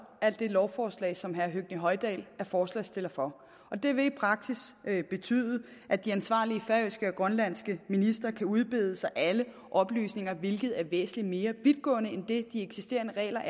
af det lovforslag som herre høgni hoydal er forslagsstiller for og det vil i praksis betyde at de ansvarlige færøske og grønlandske ministre kan udbede sig alle oplysninger hvilket er væsentlig mere vidtgående end de eksisterende regler